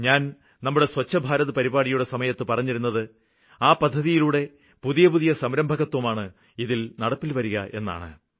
ഞാന് നമ്മുടെ സ്വച്ഛ് ഭാരത് പരിപാടിയുടെ സമയത്ത് പറഞ്ഞിരുന്നത് ആ പദ്ധതിയിലൂടെ പുതിയ പുതിയ സംരംഭകത്വമാണ് ഇതില് നടപ്പില് വരികയെന്ന്